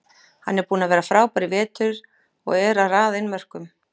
Hann er búinn að vera frábær í vetur og er að raða inn mörkum.